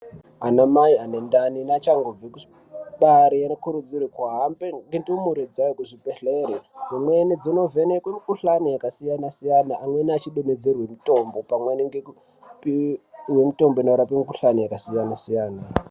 Ana mai ane ndani neachangobve kubare nokutudzirwe kuhambe nendumure kuzvibhedhleri dzimweni dzinovhenekwe mukhuhlani yakasiyana siyana amweni achidonedzerwe mutombo pamwe chete nekupiwe mutombo yakasiyana siyana.